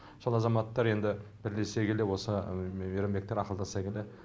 сол азаматтар енді бірлесе келе осы мейрамбектер ақылдаса келе